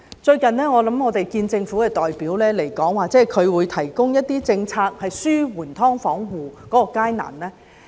最近，政府代表來跟我們見面時指出，會提供一些政策紓緩"劏房戶"的困難。